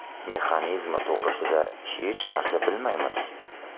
Mexanizmi to‘g‘risida hech narsa bilmaymiz.